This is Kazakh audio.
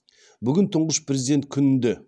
бүгін тұнғыш президент күнінде